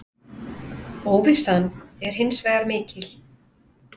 Óvissan er hins vegar mikil.